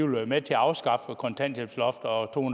vil være med til at afskaffe kontanthjælpsloftet og to